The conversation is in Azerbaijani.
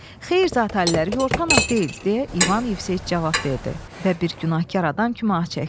Xeyr zatəllər, Yortanov deyil, deyə İvan Yevseyiç cavab verdi və bir günahkar adam kimi ah çəkdi.